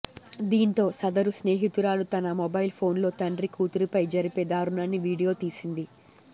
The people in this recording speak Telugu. దీంతో సదరు స్నేహితురాలు తన మోబైల్ ఫోన్లో తండ్రి కూతురిపై జరిపే దారుణాన్ని వీడియో తీసింది